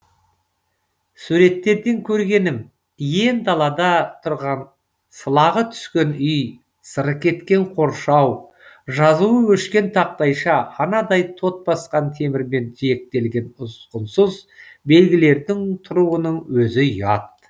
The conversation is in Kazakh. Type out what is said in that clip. суреттерден көргенім иен далада тұрған сылағы түскен үй сыры кеткен қоршау жазуы өшкен тақтайша анадай тот басқан темірмен жиектелген ұсқынсыз белгілердің тұруының өзі ұят